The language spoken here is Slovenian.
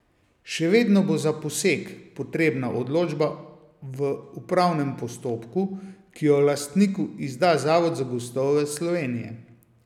Še vedno bo za posek potrebna odločba v upravnem postopku, ki jo lastniku izda Zavod za gozdove Slovenije.